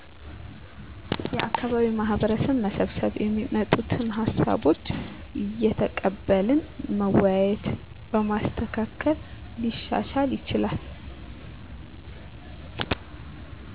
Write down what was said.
የአካባቢ ማህበረሰብ መሰብሰብ የሚመጡትን ሀሳቦች እየተቀበልን መወያየት በማስተካከል ሊሻሻል ይችላል